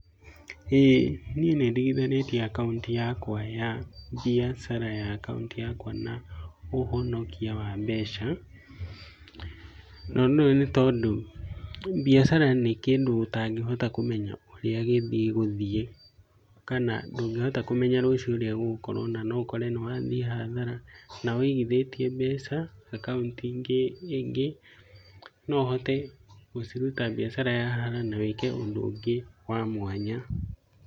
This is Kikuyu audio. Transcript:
Ĩĩ niĩ nĩndigithanĩtie akaunti yaku ya mbiacara na akaunti yakwa ya ũhonokio a mbeca . No nĩũĩ nĩtondu mbiacara nĩkĩndũ ũtangĩhota kũmenya ũrĩa gĩgũthiĩ kana ndũngĩhota kũmenya ũrĩa rũciũ gũgũkorwo, na noũkore nĩwathiĩ hathara . Na wĩigithĩtie mbeca akaunti-inĩ ĩngĩ noũhote gũciruta mbiacara yahara, na wĩke ũndũ ũngĩ wa mwanya.